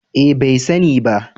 Eh bai sani ba